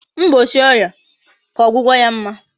mgbochi oria ka ogwugo ya mma